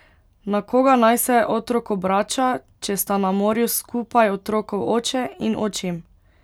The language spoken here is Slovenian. Na koga naj se otrok obrača, če sta na morju skupaj otrokov oče in očim?